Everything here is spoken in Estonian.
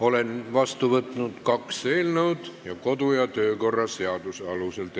Olen vastu võtnud kaks eelnõu, tegutseme nendega edasi kodu- ja töökorra seaduse alusel.